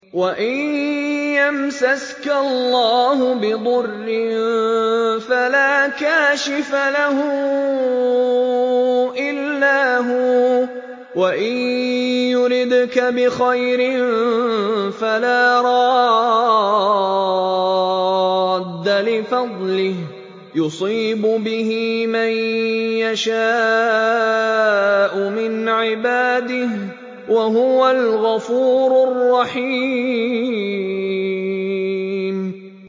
وَإِن يَمْسَسْكَ اللَّهُ بِضُرٍّ فَلَا كَاشِفَ لَهُ إِلَّا هُوَ ۖ وَإِن يُرِدْكَ بِخَيْرٍ فَلَا رَادَّ لِفَضْلِهِ ۚ يُصِيبُ بِهِ مَن يَشَاءُ مِنْ عِبَادِهِ ۚ وَهُوَ الْغَفُورُ الرَّحِيمُ